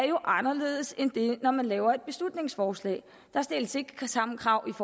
jo er anderledes end det er når man laver et beslutningsforslag der stilles ikke de samme krav